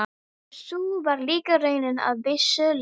Og sú var líka raunin að vissu leyti.